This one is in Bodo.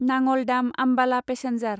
Nangal Dam Ambala passenger